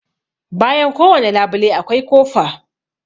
Bayan kowane labule akwai kofa.